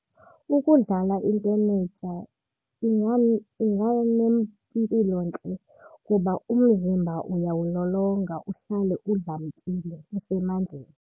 Ukudlala intenetya inganempilontle kuba umzimba uyawulolonga uhlale udlamkile, usemandleni.